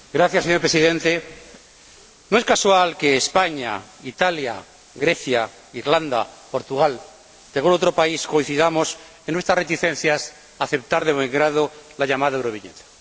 Señor Presidente, no es casual que España, Italia, Grecia, Irlanda, Portugal y algún otro país coincidamos en nuestras reticencias a aceptar de buen grado la llamada Euroviñeta.